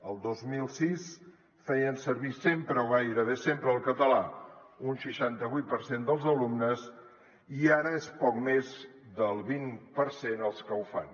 el dos mil sis feien servir sempre o gairebé sempre el català un seixanta vuit per cent dels alumnes i ara és poc més del vint per cent els que ho fan